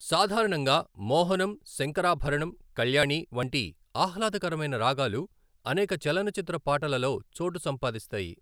సాధారణంగా మోహనం, శంకరాభరణం, కల్యాణి వంటి ఆహ్లాదకరమైన రాగాలు అనేక చలనచిత్ర పాటలలో చోటు సంపాదిస్తాయి.